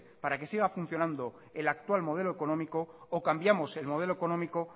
para que siga funcionando el actual modelo económico o cambiamos el modelo económico